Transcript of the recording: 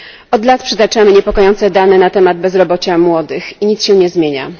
Od lat przytaczamy niepokojące dane na temat bezrobocia młodych i nic się nie zmienia.